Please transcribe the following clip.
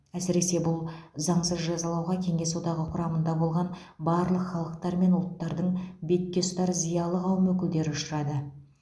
әсіресе бұл заңсыз жазалауға кеңес одағы құрамында болған барлық халықтар мен ұлттардың бетке ұстар зиялы қауым өкілдері ұшырады